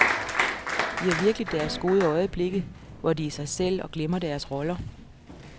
De har virkelig deres gode øjeblikke, hvor de er sig selv og glemmer deres roller?